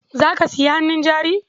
Za ka sayi hannun jari?